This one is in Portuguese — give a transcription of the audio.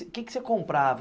O que que você comprava?